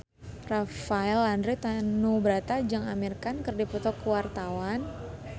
Rafael Landry Tanubrata jeung Amir Khan keur dipoto ku wartawan